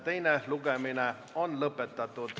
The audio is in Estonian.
Teine lugemine on lõpetatud.